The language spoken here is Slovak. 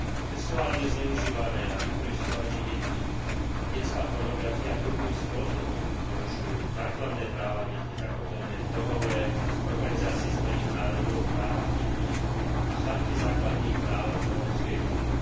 Sexuálne zneužívanie a vykorisťovanie detí a detská pornografia hrubým spôsobom porušujú základné práva detí zakotvené v Dohovore Organizácie Spojených národov o právach detí a v Charte základných práv Európskej únie.